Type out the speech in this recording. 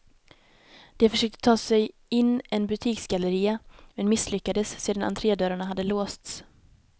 De försökte ta sig in en butiksgalleria, men misslyckades sedan entrédörrarna hade låsts.